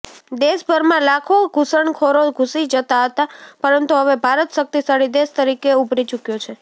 દેશભરમાં લાખો ઘુસણખોરો ઘુસી જતા હતા પરંતુ હવે ભારત શક્તિશાળી દેશ તરીકે ઉભરી ચુક્યો છે